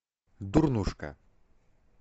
дурнушка